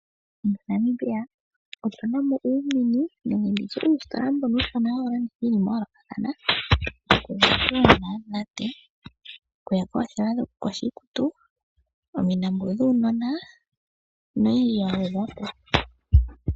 Namibia otu namo Uumini nenge nditye uusitola mbono uushona ha wulanditha iinima ya yoolokathana ,oothewa dho kukosha iikutu, omilambo dhuunona noyidji yangwedhwapo.